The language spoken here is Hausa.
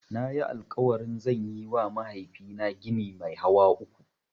Nayi alƙawarin zan yiwa mahaifina gini mai hawa uku.